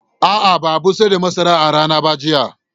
A'a, ba a busar da masarar a rana ba jiya